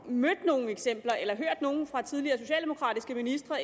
mødt nogen eksempler eller fra tidligere socialdemokratiske ministre